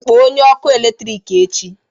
Kpọọ onye ọkụ eletrik echi